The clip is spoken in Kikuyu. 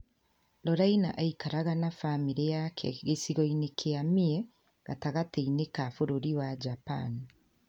Lorraina aikaraga na bamĩrĩ yake gĩcigo-inĩ kĩa Mie, gatagatĩ-inĩ ka bũrũri wa Japan.